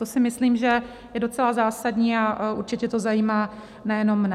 To si myslím, že je docela zásadní, a určitě to zajímá nejenom mne.